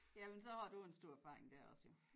Jamen så har du en stor erfaring dér også jo